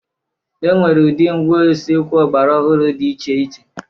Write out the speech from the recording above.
E nwere ụdị ngwá usekwu ọgbara ọhụrụ dị iche iche.